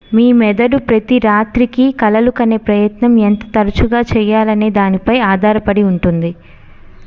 మీ మెదడు ప్రతి రాత్రి కి కలలు కనే ప్రయత్నం ఎంత తరచుగా చేయాలనే దానిపై ఆధారపడి ఉంటుంది